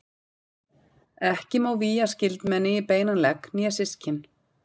Ekki má vígja skyldmenni í beinan legg né systkin.